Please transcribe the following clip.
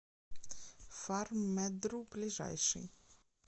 фарммедру ближайший